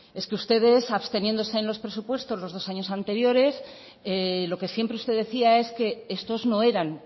es que ustedes absteniéndose en los presupuestos los dos años anteriores lo que siempre usted decía es que estos no eran